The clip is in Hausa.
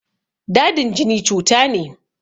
Dadin jini cuta ne.